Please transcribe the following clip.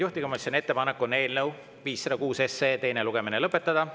Juhtivkomisjoni ettepanek on eelnõu 506 teine lugemine lõpetada.